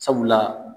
Sabula